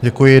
Děkuji.